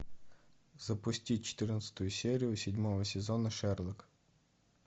запусти четырнадцатую серию седьмого сезона шерлок